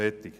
Fertig